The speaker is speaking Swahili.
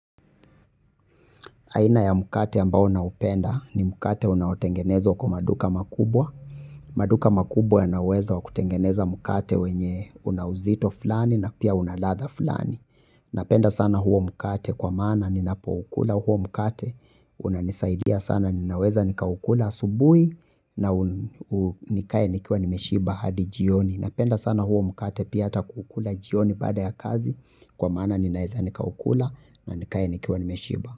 Aina ya mkate ambayo naupenda ni mkate unaotengenezwa kwa maduka makubwa. Maduka makubwa yana uwezo wa kutengeneza mkate wenye una uzito fulani na pia una ladha fulani. Napenda sana huo mkate kwa maana ninapoukula huo mkate. Unanisaidia sana ninaweza nikaukula asubuhi na nikae nikiwa nimeshiba hadi jioni. Napenda sana huo mkate pia hata kuukula jioni baada ya kazi kwa maana ninaweza nikaukula na nikae nikiwa nimeshiba.